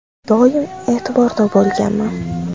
Doim e’tiborda bo‘lganman.